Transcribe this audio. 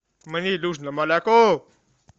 мне нужно молоко